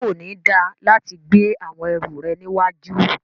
Ṣe ko ni da lati gbe awọn ẹru rẹ níwájú?